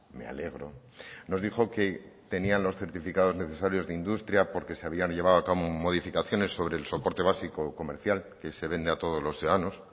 me alegro nos dijo que tenían los certificados necesarios de industria porque se habían llevado a cabo modificaciones sobre el soporte básico o comercial que se vende a todos los ciudadanos